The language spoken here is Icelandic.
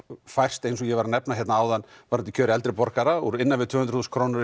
færst eins og ég var að nefna hérna áðan með kjör eldri borgara úr innan við tvö hundruð þúsund krónur